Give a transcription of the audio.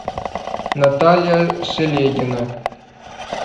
наталья шелегина